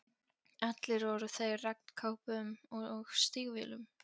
Allir voru þeir í regnkápum og stígvélum.